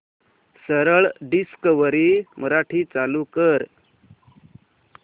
सरळ डिस्कवरी मराठी चालू कर